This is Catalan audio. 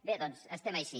bé doncs estem així